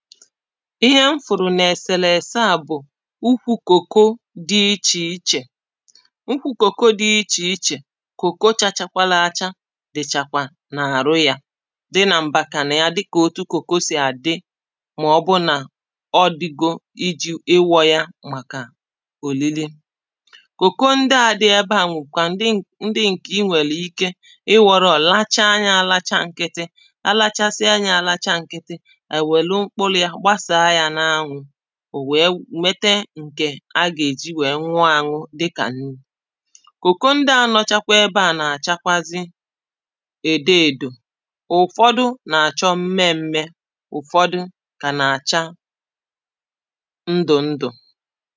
ihe m fụrụ na eselese a bụ̀ ukwu kòko dị ichè ichè ukwu kòko dị ichè ichè kòko chachakwara acha dị chakwa na ahụ ya dị na mpakana ya dịka otu kòko si adị maọbụ na ọ dịgo iji iwọ ya maka oriri kòko ndị adị ebe a nwekwara ndị ndị nke i nwèlè ike ighọrọ lachanya alacha nkịtị alachasị anya alacha nkịtị e nwere mkpụrụ ya gbasaa ya na anwụ ò nwèe mete ǹkè agà-èji wèe ñuọ añụ dịkà nri kòko ndị anọchakwa ebe a nà-àchakwazị [paues]èdo èdò, ụ̀fọdụ nà-àchọ mmeṁme ụ̀fọdụ kà nà-àcha [paues]ndụ̀ ndụ̀.